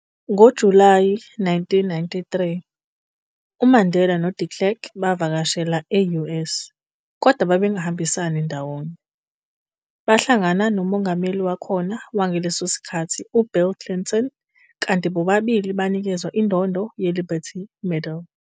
NgoJulayi 1993, uMandela noDe Klerk bavakashela e-US kodwa bengahambisani ndawonye, bahlangano noMongameli wakhona wangaleso sikkhathi u-Bill Clinton kanti bobabili banikezwa indondo ye-Liberty Medal.